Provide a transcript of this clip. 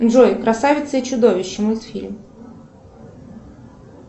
джой красавица и чудовище мультфильм